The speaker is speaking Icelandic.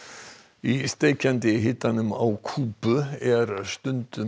í steikjandi hitanum á Kúbu er stundum